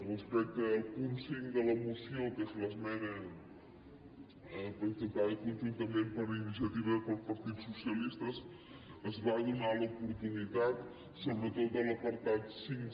respecte al punt cinc de la moció que és l’esmena presentada conjuntament per iniciativa i pel partit dels socialistes es va donar l’oportunitat sobre·tot en l’apartat cinc